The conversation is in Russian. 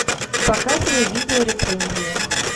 показывай видео рецензию